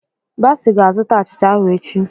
Bassey ga-azụta achịcha ahụ echi.